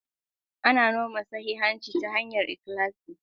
Ana noma sahihanci ta hanyar ikhlasi.